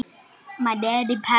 Litla barnið.